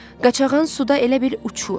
Qaçağan suda elə bil uçur.